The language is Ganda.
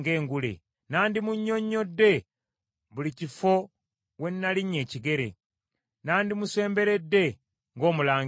Nandimunnyonnyodde buli kifo we nalinnya ekigere, nandimusemberedde ng’omulangira.